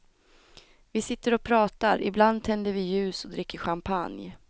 Vi sitter och pratar, ibland tänder vi ljus och dricker champagne.